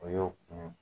O y'o kun